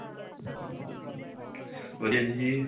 ਵਧੀਆ ਜੀ